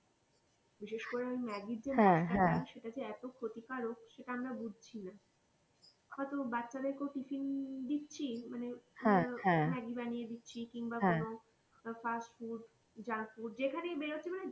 বিশেষ করে ম্যাগি সেটা যে ক্ষতি কারক, সেটা আমরা বুঝছি না হয়তো বাচ্চাদের কেউ টিফিন দিচ্ছি, ম্যাগি বানিয়ে দিচ্ছি কিংবা ধরো fast food junk food যেখানেই বেরোচ্ছি,